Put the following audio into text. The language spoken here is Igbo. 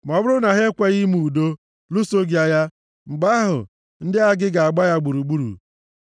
Ma ọ bụrụ na ha ekweghị ime udo, lụso gị agha, mgbe ahụ, ndị agha gị ga-agba ya gburugburu.